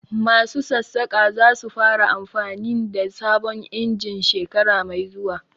Masu Sassaƙa za su fara amfanin da sabon injin shekara mai zuwa